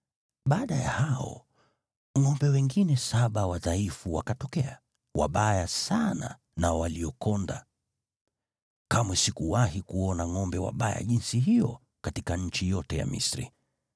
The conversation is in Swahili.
Baada ya hao, ngʼombe wengine saba wadhaifu wakatokea, wabaya sana na waliokonda. Kamwe sikuwahi kuona ngʼombe wabaya jinsi hiyo katika nchi yote ya Misri.